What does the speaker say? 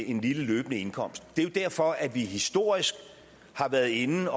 en lille løbende indkomst det er jo derfor at vi historisk har været inde